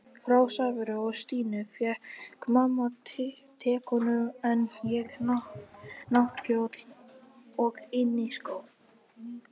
Frá Sævari og Stínu fékk mamma tekönnu en ég náttkjól og inniskó.